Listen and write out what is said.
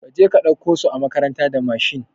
Kaje ka ɗauko su a makaranta da Mashin